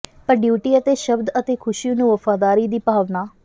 ਪਰ ਡਿਊਟੀ ਅਤੇ ਸ਼ਬਦ ਅਤੇ ਖ਼ੁਸ਼ੀ ਨੂੰ ਵਫ਼ਾਦਾਰੀ ਦੀ ਭਾਵਨਾ